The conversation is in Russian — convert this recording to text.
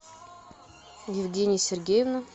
евгения сергеевна